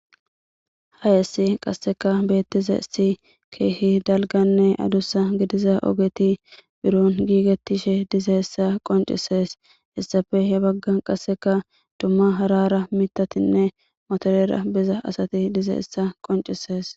hayessi qasseka beettize si keehi dalganne adussa gidiza ogeti biron giigettishe diza essa qoncisees issafe he bagga qasseka dumma harara mitatinne motorera biza asati diza essa qoncisees